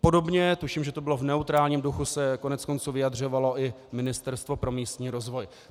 Podobně tuším, že to bylo v neutrálním duchu, se koneckonců vyjadřovalo i Ministerstvo pro místní rozvoj.